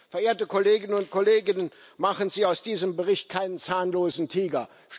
Verehrte Kolleginnen und Kollegen, machen Sie aus diesem Bericht keinen zahnlosen Tiger!